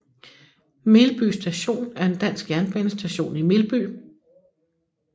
Melby Station er en dansk jernbanestation i Melby